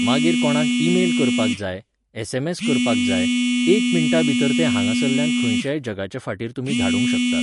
मागीर कोणाक ईमेल करपाक जाय, एसएमएस करपाक जाय, एक मिण्टां भितर तें हांगासरल्यान खंयच्याय जगाचे फाटीर तुमी धाडूंक शकतात.